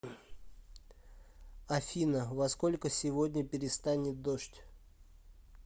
афина во сколько сегодня перестанет дождь